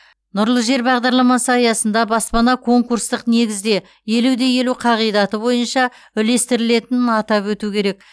нұрлы жер бағдарламасы аясында баспана конкурстық негізде елу де елу қағидаты бойынша үлестірілетінін атап өту керек